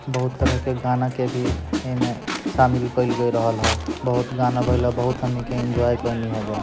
बहुत तरह के गाना के भी ए मे शामिल कइल गेल रहल हई बहुत गाना बजला बहुत हमनी के एन्जॉय केनी एजा।